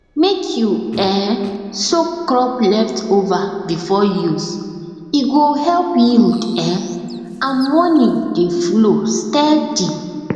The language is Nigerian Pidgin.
mek you um soak crop leftover before use e go help yield um and money dey flow steady